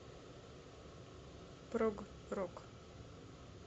прог рок